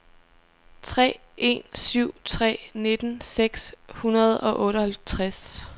tre en syv tre nitten seks hundrede og otteoghalvtreds